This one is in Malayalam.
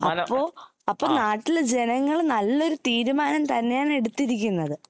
അപ്പൊ നാട്ടിൽ ജനങ്ങൾ നല്ലൊരു തീരുമാനം തന്നെയാണ് എടുത്തിരിക്കുന്നത്